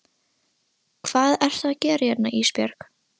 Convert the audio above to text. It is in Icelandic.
Hvað ertu að gera hérna Ísbjörg?